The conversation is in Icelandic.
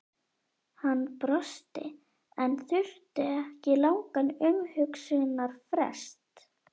Hann brosti en þurfti ekki langan umhugsunarfrest.